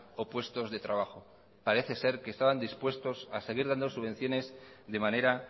o puestos de trabajo parece ser que estaban dispuestos a seguir dando subvenciones de manera